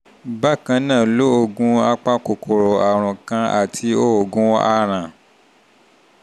bákan náà lo oògùn lo oògùn apakòkòrò àrùn kan àti oògùn aràn (deworming)